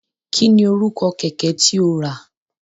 Kí ni orúkọ kẹ̀kẹ́ tí o rà?